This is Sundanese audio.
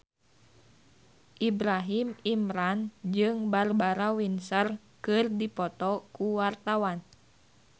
Ibrahim Imran jeung Barbara Windsor keur dipoto ku wartawan